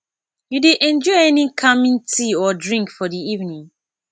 you dey enjoy any calming tea or drink for di evening